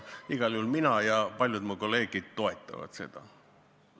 Igal juhul mina ja paljud mu kolleegid toetame seda.